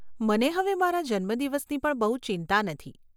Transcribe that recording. મને હવે મારા જન્મદિવસની પણ બહુ ચિંતા નથી.